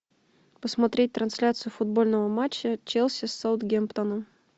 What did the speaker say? посмотреть трансляцию футбольного матча челси с саутгемптоном